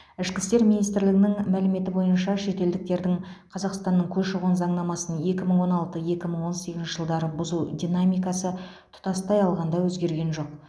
ішкі істер министрлігінің мәліметі бойынша шетелдіктердің қазақстанның көші қон заңнамасын екі мың он алты екі мың он сегізінші жылдары бұзу динамикасы тұтастай алғанда өзгерген жоқ